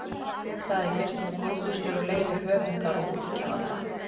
Það er birt með góðfúslegu leyfi höfundar og útgefanda.